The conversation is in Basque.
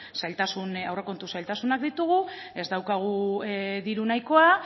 zailtasun aurrekontu zailtasunak ditugu ez daukagu diru nahikoa